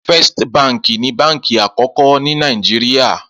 Fèst bànkí ni bànkí ákòkò ni Nàijiriá